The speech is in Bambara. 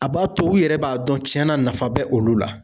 A b'a to u yɛrɛ b'a dɔn cɛn na nafa bɛ olu la